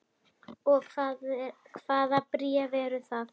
Og hvaða bréf eru það?